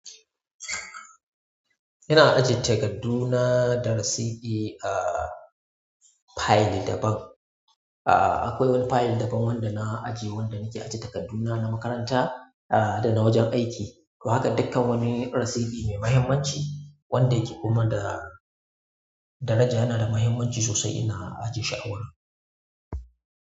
Ina ajiye takarduna da rasiti a file daban ah akwai wani file daban wandana ajiye wanda nake ajiye takarduna na makaranta da na wajen aiki to haka dukkan wani rasiti mai mahimmanci wanda yake kuma da daraja yana da mahimmanci sosai ina ajiye shi a wurin.